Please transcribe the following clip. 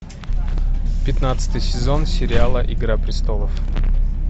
пятнадцатый сезон сериала игра престолов